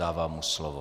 Dávám mu slovo.